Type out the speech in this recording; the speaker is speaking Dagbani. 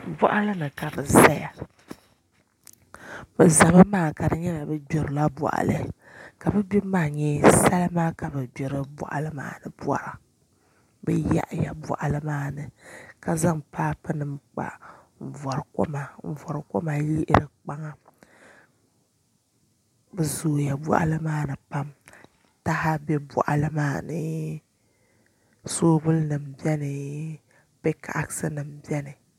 Boɣa ni ka bi ʒɛya bi ʒɛmi maa ka di nyɛla bi gbirila boɣali ka bi gbibu maa nyɛ salima ka bi gbiri boɣali maa ni bora bi yaɣaya boɣali maa ni ka zaŋ paapu ni kpa n vori koma n yihiri kpaŋa bi zooya boɣali maa ni pam taha bɛ boɣali maa ni soobuli nim biɛni pik ax nim biɛni